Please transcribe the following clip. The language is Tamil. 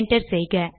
என்டர் செய்க